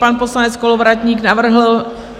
Pan poslanec Kolovratník navrhl...